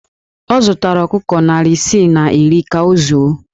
Ọ zụtara ọkụkọ narị isii na iri ka ọ zụọ